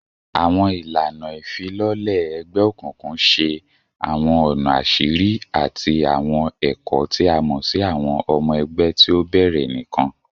Awọn ilana ifilọlẹ egbeokunkun ṣe awọn ọna aṣiri ati awọn ẹkọ ti a mọ si awọn ọmọ ẹgbẹ ti o bẹrẹ nikan